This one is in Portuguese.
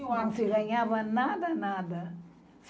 Não se ganhava nada, nada.